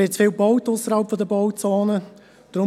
Ausserhalb der Bauzone wird zu viel gebaut.